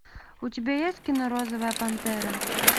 у тебя есть кино розовая пантера